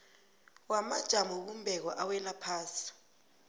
wamajamobumbeko awela ngaphasi